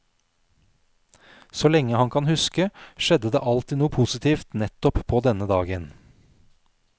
Så lenge han kan huske, skjedde det alltid noe positivt nettopp på denne dagen.